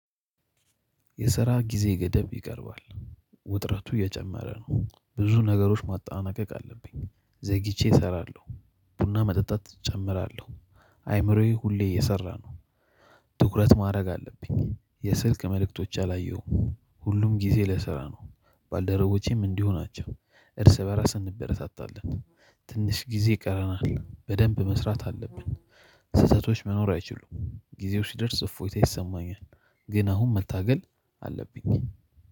የስራ ጊዜ ገደብ ይቀርባል። ውጥረቱ እየጨመረ ነው ብዙ ነገሮች ማጠናቀቅ አለብኝ ዘግይቼ እሰራለሁ፣ ቡና መጠጣት እጨምራለሁ አእምሮዬ ሁሌ እየሰራ ነው ትኩረት ማድረግ አለብኝ የስልክ መልእክቶች አላየሁም ሁሉም ጊዜ ለስራ ነው። ባልደረቦቼም እንዲሁ ናቸው እርስ በራስ እንበረታታለን ትንሽ ጊዜ ቀረናል በደንብ መስራት አለብን ስህተቶች መኖር አይችሉም ጊዜው ሲደርስ እፎይታ ይሰማኛል ግን አሁን መታገል አለብኝ